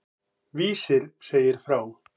Vísir segir frá.